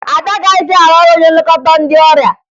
Ada agaghịzị arụ ọrụ onye nlekọta ndị ọrịa